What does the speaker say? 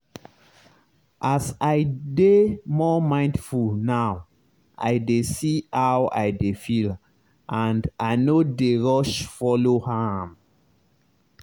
as i dey more mindful now i dey see how i dey feel and i no dey rush follow am.